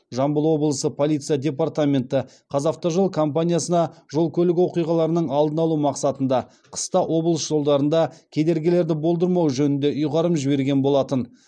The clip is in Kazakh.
жамбыл облысы полиция департаменті қазавтожол компаниясына жол көлік оқиғаларының алдын алу мақсатында қыста облыс жолдарында кедергілерді болдырмау жөнінде ұйғарым жіберген болатын